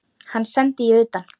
Hann sendi ég utan.